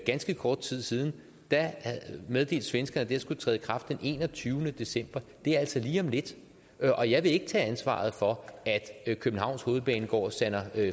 ganske kort tid siden meddelte svenskerne at det skulle træde i kraft den enogtyvende december det er altså lige om lidt og jeg vil ikke tage ansvaret for at københavns hovedbanegård sander